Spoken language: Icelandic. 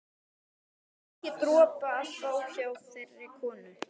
Ekki dropa að fá hjá þeirri konu.